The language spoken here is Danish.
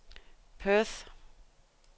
Perth